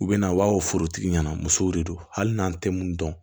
U bɛ na u b'a fɔ forotigi ɲɛna musow de don hali n'an tɛ mun dɔn